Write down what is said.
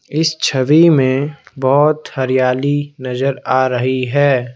इस छवि में बहुत हरियाली नजर आ रही है।